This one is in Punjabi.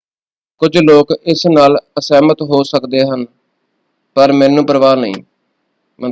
"ਕੁਝ ਲੋਕ ਇਸ ਨਾਲ ਅਸਹਿਮਤ ਹੋ ਸਕਦੇ ਹਨ ਪਰ ਮੈਨੂੰ ਪਰਵਾਹ ਨਹੀਂ।